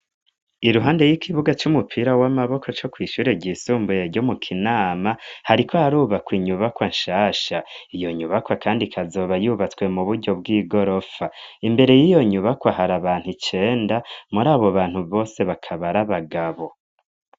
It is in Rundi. Iruhande y'igibuga c'umupira w'amaboko co kwishure ry'isumbuyeryo mu kinama hariko harubakwa inyubakwa anshasha iyo nyubakwa, kandi kazoba yubatswe mu buryo bw'i gorofa imbere y'iyo nyubakwa hari abantu icenda muri abo bantu bose bakabari abagabo.